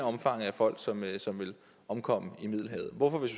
omfanget af folk som vil som vil omkomme i middelhavet hvorfor vil